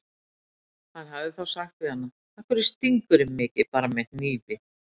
Hann hefði þá sagt við hana: Af hverju stingur þú mig ekki bara með hnífi?